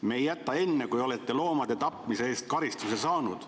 Me ei jäta enne, kui olete loomade tapmise eest karistuse saanud.